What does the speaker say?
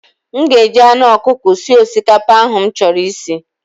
M ga-eji anụ ọkụkọ sie osikapa ahụ m chọrọ isi.